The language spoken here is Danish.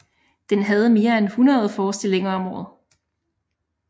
Den havde mere end 100 forestillinger om året